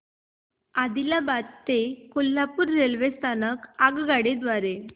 आदिलाबाद ते कोल्हापूर रेल्वे स्थानक आगगाडी द्वारे